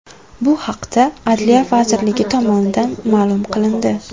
Bu haqda Adliya vazirligi tomonidan ma’lum qilindi .